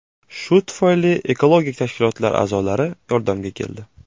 Shu tufayli ekologik tashkilotlar a’zolari yordamga keldi.